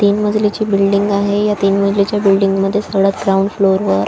तीन मजलीची बिल्डिंग आहे या तीन मजलीच्या बिल्डिंग मध्ये थोड ग्राउंड फ्लोर वर--